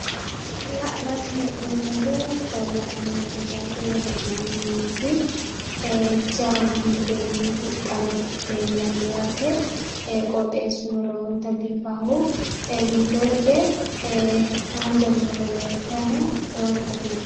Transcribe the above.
La'nanni hee'noommohu gallanni mineeti woy hee'nanni yaate jawa gibbenni huxxame leellanno yaate qooxxeessuno lowonta biifanno giddo hige haanja murono leeltanno lowonta biifawo.